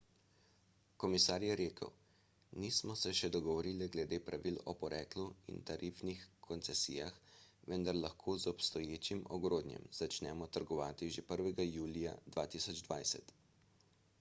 komisar je rekel nismo se še dogovorili glede pravili o poreklu in tarifnih koncesijah vendar lahko z obstoječim ogrodjem začnemo trgovati že 1 julija 2020